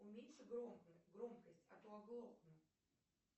уменьши громкость а то оглохну